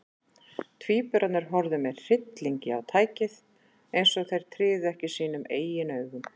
Tvíburarnir horfðu með hryllingi á tækið, eins og þeir tryðu ekki sínum eigin augum.